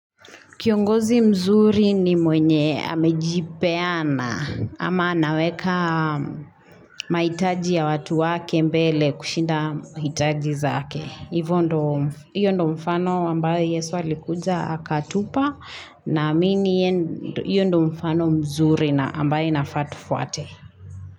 Kiongozi mzuri ni mwenye amejipeana ama naweka maitaji ya watu wake mbele kushinda maitaji zake. Hivo ndo hio ndo mfano ambayo Yesu alikuja akatupa na amini yendo iyo ndo mfano mzuri na ambayo inafaatufuate.